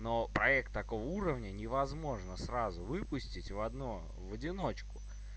но проект такого уровня невозможно сразу выпустить в одно в одиночку